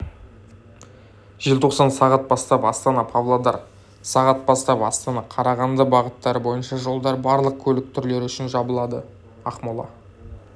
желтоқсан сағат бастап астана-павлодар сағат бастап астана-қарағанды бағыттары бойынша жолдар барлық көлік түрлері үшін жабылды ақмола